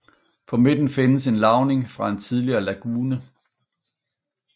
På midten findes en lavning fra en tidligere lagune